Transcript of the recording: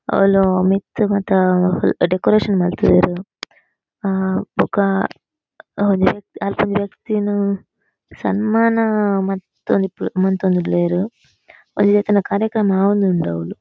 ಅವ್ಲು ಮಿತ್ತ್ ಮತ ಡೆಕೊರೇಶನ್ ಮಂತ್ ದೆರ್ ಹಾ ಬೊಕ ಒಂಜಿ ವ್ಯ ಅಲ್ಪ ಒಂಜಿ ವ್ಯಕ್ತಿನ್ ಸನ್ಮಾನ ಮಂತೊಂದಿ ಮಂತೊಂದುಲ್ಲೆರ್ ಒಂಜೊಐತನ ಕಾರ್ಯಕ್ರಮ ಆವೊಂದುಂಡು ಅವ್ಲು.